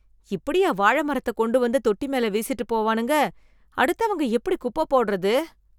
இப்படியா வாழ மரத்த கொண்டு வந்து தொட்டி மேல வீசிட்டு போவானுங்க, அடுத்தவங்க எப்படி குப்பப் போடுறது?